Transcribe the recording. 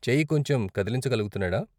చెయ్యి కొంచెం కదిలించగలుగుతున్నాడా?